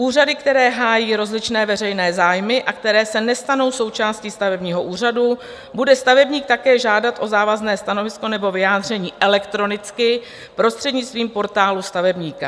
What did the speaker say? Úřady, které hájí rozličné veřejné zájmy a které se nestanou součástí stavebního úřadu, bude stavebník také žádat o závazné stanovisko nebo vyjádření elektronicky prostřednictvím Portálu stavebníka.